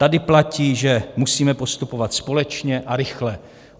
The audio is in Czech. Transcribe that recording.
Tady platí, že musíme postupovat společně a rychle.